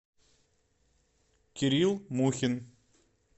кирилл мухин